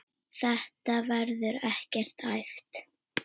Þetta verður ekkert æft.